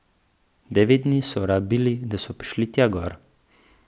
Devet dni so rabili, da so prišli tja gor.